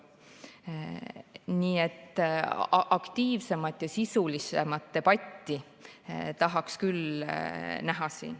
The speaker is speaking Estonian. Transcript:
Nii et aktiivsemat ja sisulisemat debatti tahaks küll siin näha.